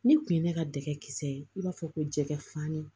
Ni kun ye ne ka dɛgɛ kisɛ ye i b'a fɔ ko jɛgɛ fani